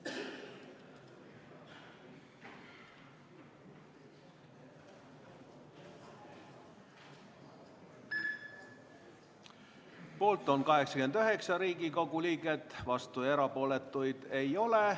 Hääletustulemused Poolt on 89 Riigikogu liiget, vastuolijaid ja erapooletuid ei ole.